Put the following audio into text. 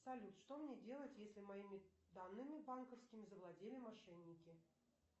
салют что мне делать если моими данными банковскими завладели мошенники